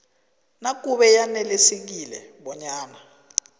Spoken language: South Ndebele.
nakube yanelisekile bonyana